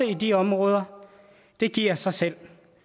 i de områder det giver sig selv